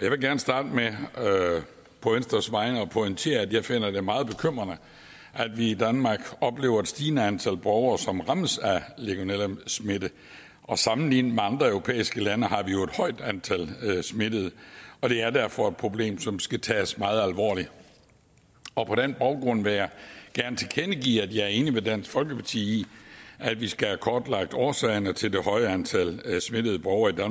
jeg vil gerne starte med på venstres vegne at pointere at jeg finder det meget bekymrende at vi i danmark oplever et stigende antal borgere som rammes af legionellasmitte sammenlignet med andre europæiske lande har vi jo et højt antal smittede og det er derfor et problem som skal tages meget alvorligt og på den baggrund vil jeg gerne tilkendegive at jeg er enig med dansk folkeparti i at vi skal have kortlagt årsagerne til det høje antal smittede borgere i